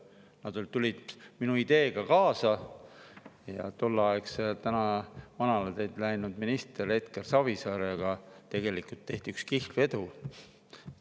tulid minu ideega kaasa ja tolleaegse, tänaseks manala teed läinud ministri Edgar Savisaarega tehti üks kihlvedu.